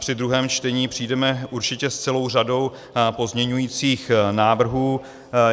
Při druhém čtení přijdeme určitě s celou řadou pozměňujících návrhů.